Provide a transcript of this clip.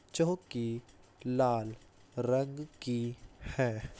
चौहकी लाल रंग की है।